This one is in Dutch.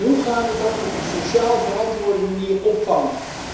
Hoe gaan we dat op een sociaal verantwoorde manier opvangen?